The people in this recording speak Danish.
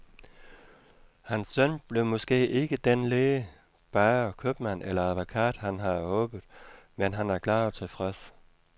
Hans søn blev måske ikke dén læge, bager, købmand eller advokat, han havde håbet, men han er glad og tilfreds.